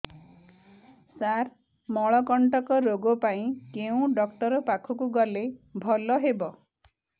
ସାର ମଳକଣ୍ଟକ ରୋଗ ପାଇଁ କେଉଁ ଡକ୍ଟର ପାଖକୁ ଗଲେ ଭଲ ହେବ